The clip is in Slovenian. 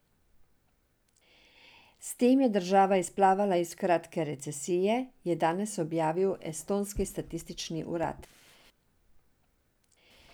S tem je država izplavala iz kratke recesije, je danes objavil estonski statistični urad.